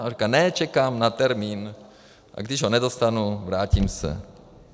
A on říká: Ne, čekám na termín, a když ho nedostanu, vrátím se.